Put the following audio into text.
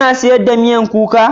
Kuna siyarwa miyakuka?